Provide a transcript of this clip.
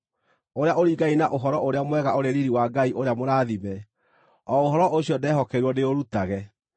ũrĩa ũringaine na Ũhoro-ũrĩa-Mwega ũrĩ riiri wa Ngai ũrĩa mũrathime, o ũhoro ũcio ndehokeirwo ndĩũrutage.